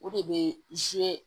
O de bɛ